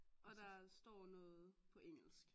Og der står noget på engelsk